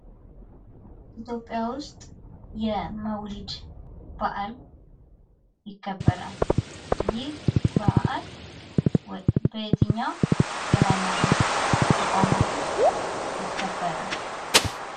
ኢትዮጵያ ውስጥ የመውሊድ በዓል ይከበራል። ይህ በአል በየትኛው የሐይማኖት ተቋማት ውስጥ ይከበራል?